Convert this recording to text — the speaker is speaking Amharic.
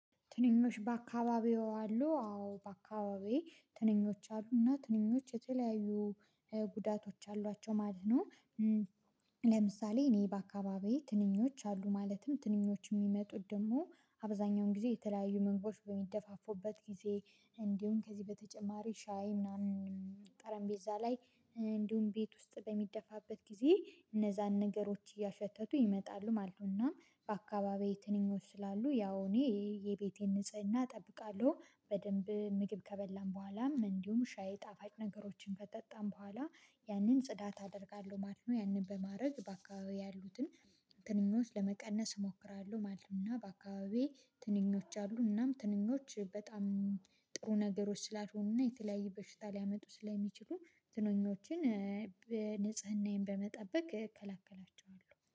ትንኞች በአካባቢዎ አሉ አዎ በአካባቢዬ ትንኞች አሉና ትንኞች የተለያዩ ጉዳቶች አሏቸው ማለት ነው። እ ለምሳሌ እኔ በአካባቢዬ ትንኞች አሉ ማለትም ትንኞች የሚመጡት ደግሞ አብዛኛውን ጊዜ የተለያዩ ምግቦች በሚደፋፉበት ጊዜ እንዲሁም ከዚህ በተጨማሪ ሻይ ምናምን ጠረምቤዛ ላይ እንዲሁም ቤት ውስጥ በሚደፋበት ጊዜ እነዛን ነገሮች እያሸተቱ ይመጣሉ ማለት ነው። እናም በአካባቢውዬ ትንኞቹ ስላሉ ያው እኔ የቤቴን ንጽህና እጠብቃለሁ በደንብ ምግብ ከበላን በኋላም እንዲሁም ሻይ ጣፋጭ ነገሮችን ከጠጣን በኋላ ያንን ጽዳት አደርጋለሁ ማለት ነው። ያንን በማድረግ በአካባቢዬ ያሉትን ትንኞች ለመቀነስ እሞክራለሁ ማለት ነው። እና በአካባቢዬ ትንኞች አሉ እናም ትንኞች በጣም እ ጥሩ ነገሮች ስላልሆኑ እና የተለያየ በሽታ ሊያመጡ ስለሚችሉ ትንኞችን እ ንጽህናዬን በመጠበቅ እከላከላቸዋለሁ